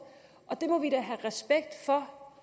og det må vi da have respekt for